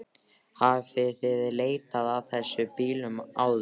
Hafið þið leitað að þessum bílum eða?